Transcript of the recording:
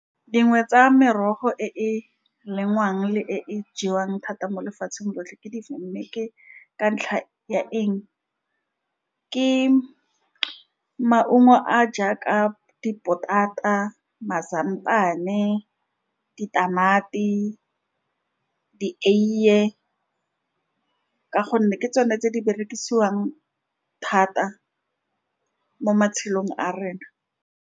Dingwe tsa merogo e e lengwang le e e jewang thata mo lefatsheng lotlhe ke difeng, mme ke ka ntlha ya eng. Ke maungo a jaaka dipotata mazambane, ditamati, dieie, ka gonne ke tsone tse di berekisiwang thata mo matshelong a rena.